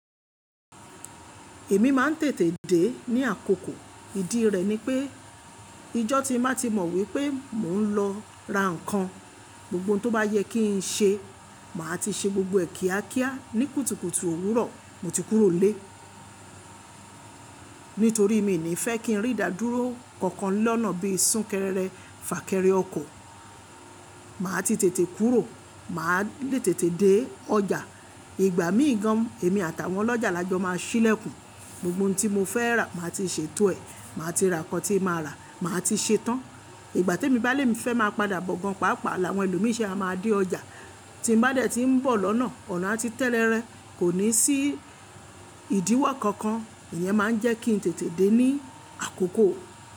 Èmi máa ń tètè dé ní àkókò. Ìdí rẹ̀ ni pé ijọ́ ti má ti mọ wípé mò ń lọ ra ǹkan, gbogbo ohun tó bá yẹ kí ń ṣe, màá ti ṣe gbogbo ẹ kìàkià ní kùtùkùtù òwúrọ̀ mo ti kúrò nlé. Nítorí mi ò ní fẹ́ kí n rí ìdádúró kankan lọ́nà bí i súnkẹrẹrẹ fà kẹrẹ ọkọ̀. Màá ti tètè kúrò, màá lé tètè dé ọjà. Ìgbà míì gan, èmi àtàwọn ọlọ́jà lajo máa ṣílẹ̀kùn. Gbogbo ohun tí mo fẹ́ rà, màá ti ṣètò ẹ̀, màá ti ra nǹkan tí màá rà, màá ti ṣetán. Ìgbà tí èmi bá lémi fẹ́ máa padà bọ̀ gan, pàápàá l'àwọn ẹlòmí se máa dé ọjà. Tí mo bá dẹ̀ tí ń bọ̀ lọ́nà, ọ̀nà ati tẹ́rẹ̀rẹ́, kò ní sí ìdíwọ́ kankan. Ìyẹn máa ń jẹ́ kí n tètè dé ní àkókò.